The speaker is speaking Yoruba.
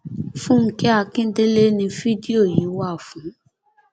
fúnkẹ akíndélé ni fídíò yìí wà fún